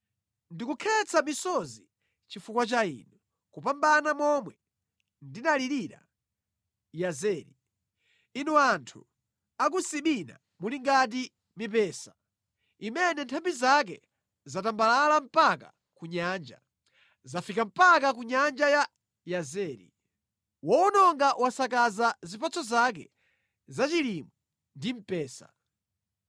Ndikukhetsa misozi chifukwa cha inu, kupambana momwe ndinalirira Yazeri. Inu anthu a ku Sibina muli ngati mipesa imene nthambi zake zatambalala mpaka ku Nyanja; zafika mpaka ku nyanja ya Yazeri. Wowononga wasakaza zipatso zake zachilimwe ndi mpesa.